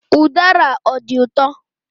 Udara ọ dị ụtọ?